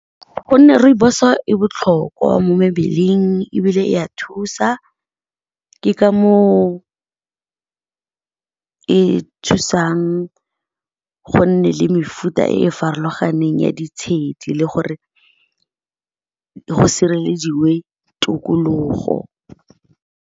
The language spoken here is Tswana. Gonne rooibos e botlhokwa mo mebeleng, ebile e ya thusa. Ke ka mo o e thusang go nne le mefuta e farologaneng ya ditshedi le gore go sirelediwe tokologo.